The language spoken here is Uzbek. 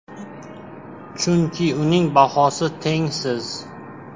Chunki uning bahosi tengsiz.